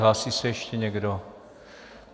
Hlásí se ještě někdo?